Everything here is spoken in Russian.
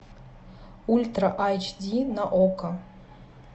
ультра айч ди на окко